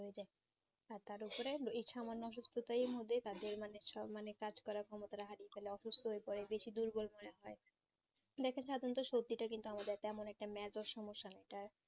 হ্যাঁ তার ওপরে এই সামান্য অসুস্থতায় মধ্যে তাদের মানে সব মনে কাজ করার ক্ষমতাটা হারিয়ে ফেলে অসুস্থ হয়ে পরে বেশি দুর্বল মনে হয় বেশির ভাগ সত্যি তা কিন্তু আমাদের তেমন একটা সমস্যা একটা